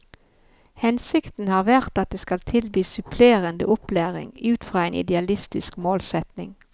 Hensikten har vært at de skal tilby supplerende opplæring, ut fra en idealistisk målsetning.